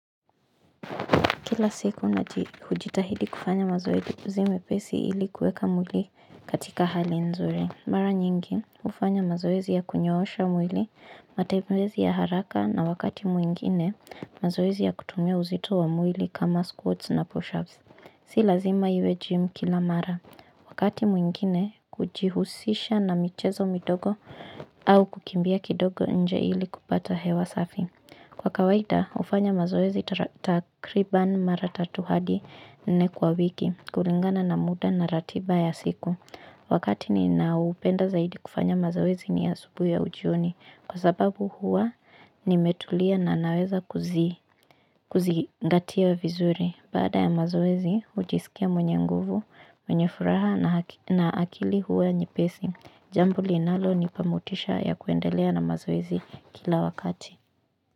Kila siku ujitahidi kufanya mazoezi mepesi ili kueka mwili katika hali nzuri. Mara nyingi, ufanya mazoezi ya kunyoosha mwili, matembezi ya haraka na wakati mwingine, mazoezi ya kutumia uzito wa mwili kama squats na pushups. Si lazima iwe jim kila mara. Wakati mwingine, kujihusisha na michezo midogo au kukimbia kidogo nje ili kupata hewa safi. Kwa kawaida, hufanya mazoezi takriban maratatu hadi nne kwa wiki, kulingana na muda na ratiba ya siku. Wakati ninaupenda zaidi kufanya mazoezi ni ya asubuhi au jioni. Kwa sababu huwa, nimetulia na naweza kuzigatia vizuri. Baada ya mazoezi, ujisikia mwenye nguvu, mwenye furaha na akili huwa nyepesi. Jambo linalo nipamotisha ya kuendelea na mazoezi kila wakati.